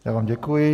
Já vám děkuji.